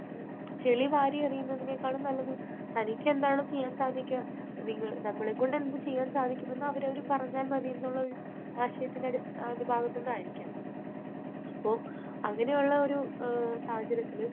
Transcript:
ചെളി വാരി എറിയുന്നതിൽ നേക്കാൾ നല്ലത് തനിക്ക് എന്താണോ ചെയ്യാൻ സാധിക്കുക, നമ്മളെക്കൊണ്ട് എന്ത് ചെയ്യാൻ സാധിക്കും എന്ന് അവരവര് പറഞ്ഞാൽ മതി എന്നുള്ള ഒരു ആശയത്തിന്റെ ഭാഗത്തുനിന്ന് ആയിരിക്കാം. അപ്പോൾ അങ്ങനെയുള്ള ഒരു സാഹചര്യത്തിൽ